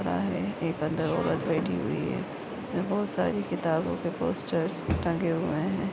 खड़ा है एक अंदर औरत बैठी हुही हुई है इसमे बहुत सारी किताबो के पोस्टरर्स टंगे हुए है।